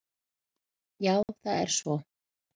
Já það er svo.